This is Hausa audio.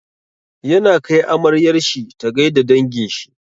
Yana kai amaryar shi ta gai da dangin shi.